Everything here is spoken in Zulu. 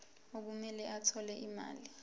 okumele athole imali